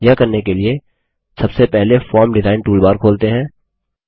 यह करने के लिए सबसे पहले फॉर्म डिजाइन टूलबार खोलते हैं